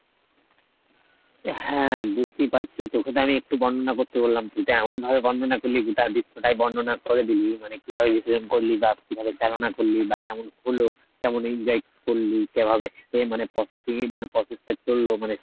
হ্যাঁ বুঝতেই পারছি তোকে তো আমি একটু বর্ণনা করতে বললাম কিন্তু এমন ভাবে বর্ণনা করলি গোটা দৃশ্য টাই বর্ণনা করে দিলি মানে কিভাবে বিসর্জন করলি বা কিভাবে চালনা করলি বা কেমন হলো, কেমন enjoy করলি কিভাবে মানে processing এ মানে process টা চললো মানে